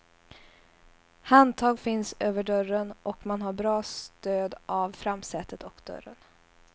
Handtag finns över dörren och man har bra stöd av framsätet och dörren.